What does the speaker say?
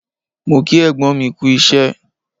Mo kí ẹ̀gbọ́n mi kú isẹ́